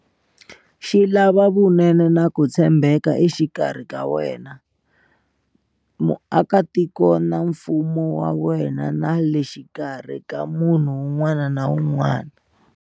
Xi lava vunene na ku tshembeka exikarhi ka wena, muakitiko na mfumo wa wena na le xikarhi ka munhu wun'wana na wun'wana.